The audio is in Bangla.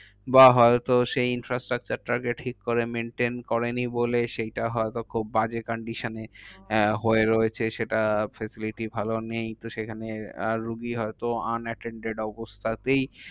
বা হয়তো সেই infrastructure টা আগে ঠিক করে maintain করেনি বলে সেইটা হয়তো খুব বাজে condition এ আহ হয়ে রয়েছে। সেটা facility ভালো নেই। তো সেখানে আর রুগী হয়তো unattained অবস্থাতেই